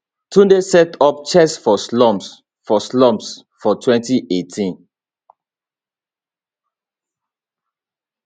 tunde set up chess for slums for slums for 2018